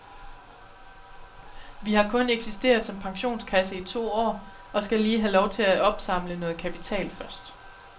Vi har kun eksisteret som pensionskasse i to år og skal lige have lov til at opsamle noget kapital først.